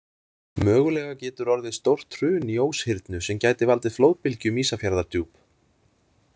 Mögulega getur orðið stórt hrun í Óshyrnu sem gæti valdið flóðbylgju um Ísafjarðardjúp.